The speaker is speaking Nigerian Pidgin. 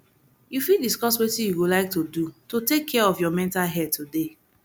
you fit discuss wetin you go like to do to take care of your mental health today